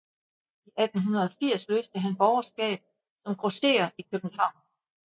I 1880 løste han borgerskab som grosserer i København